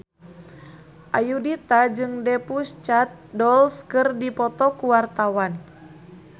Ayudhita jeung The Pussycat Dolls keur dipoto ku wartawan